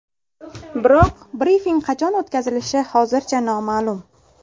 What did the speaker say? Biroq brifing qachon o‘tkazilishi hozircha noma’lum.